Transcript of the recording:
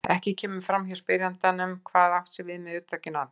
Ekki kemur fram hjá spyrjanda hvað átt sé við með hugtakinu allir.